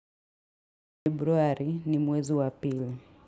Februari ni mwezi wa pili.